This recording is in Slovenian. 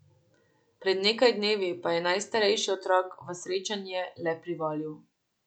Pred nekaj dnevi pa je najstarejši otrok v srečanje le privolil.